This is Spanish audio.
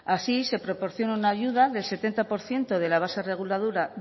así se proporciona una ayuda del setenta por ciento de la base